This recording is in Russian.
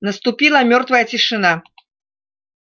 наступила мёртвая тишина